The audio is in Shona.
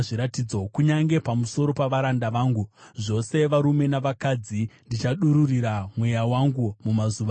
Kunyange pamusoro pavaranda vangu, zvose varume navakadzi, ndichadururira Mweya wangu mumazuva iwayo.